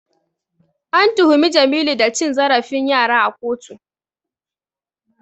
An tuhumi Jamilu da cin zarafin yara a kotu.